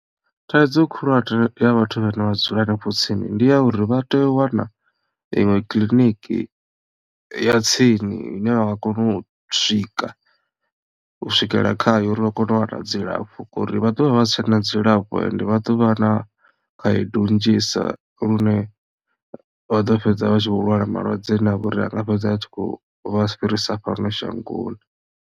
Thaidzo khulwane ya vhathu vhane vha dzula hanefho tsini ndi ya uri vha tea u wana iṅwe kiḽiniki ya tsini ine vha nga kona u swika u swikelela khayo uri vha kone u wana dzilafho ngori vha ḓovha vha si tshena dzilafho ende vha ḓo vha na khaedu nnzhisa lune vha ḓo fhedza vha tshi vho lwala malwadze ane a vha uri anga fhedza a tshi khou vha fhirisa fhano shangoni.